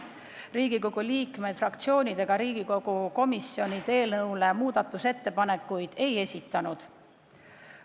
Riigikogu liikmed, fraktsioonid ega komisjonid eelnõu kohta muudatusettepanekuid ei esitanud.